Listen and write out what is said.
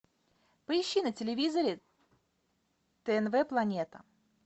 поищи на телевизоре тнв планета